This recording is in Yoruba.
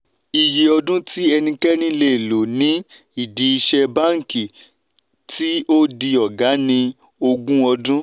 ìyè ọdún tí ẹnikẹ́ni lè lò ní ìdí ìṣe banki tí ó di ọ̀gá ni ogún ọdún.